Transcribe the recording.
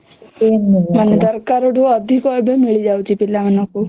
ମାନେ ଦରକାର ଠୁ ଅଧିକ ଏବେ ମିଳି ଯାଉଛି ଏବେ ପିଲା ମାନଙ୍କୁ